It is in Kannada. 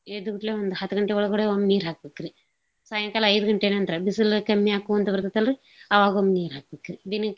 ಎದ್ಕೋಟ್ಲೇ ಒಂದ್ ಹತ್ಗಂಟೆ ಒಳಗಡೆ ಒಮ್ ನೀರ್ಹಾಕ್ಬಕ್ರಿ. ಸಾಯಂಕಾಲ ಐದ್ ಗಂಟೇ ನಂತ್ರ ಬಿಸುಲು ಕಮ್ಮಿ ಆಗ್ಕೋಂತ್ ಬರ್ತೇತಲ್ರಿ ಅವಾಗೊಮ್ ನೀರ್ ಹಾಕ್ಬಕ್ರಿ.